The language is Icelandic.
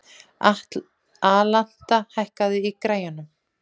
Alanta, hækkaðu í græjunum.